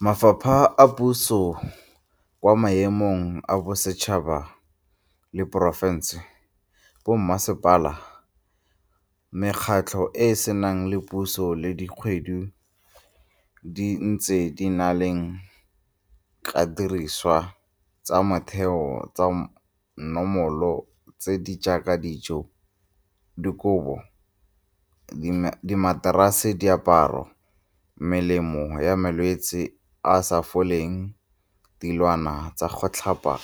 Mafapha a puso kwa maemong a bosetšhaba le a porofense, bommasepala, mekgatlho e e seng ya puso le dikgwebo di ntse di neelana ka didiriswa tsa motheo tsa namolo tse di jaaka dijo, dikobo, dimaterase, diaparo, melemo ya malwetsi a a sa foleng, dilwana tsa go tlhapa